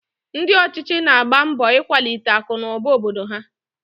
Ndị ọchịchị na-agba mbọ ikwalite akụnụba obodo ha